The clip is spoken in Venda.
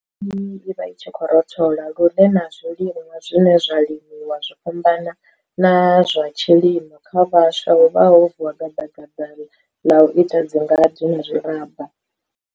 iyi i vha i tshi rothola lune na zwiliṅwa zwine zwa limiwa zwo fhambana na zwa tshilimo. Kha vhaswa huvha ho vuwa gadagada ḽa u ita dzingade na zwiraba.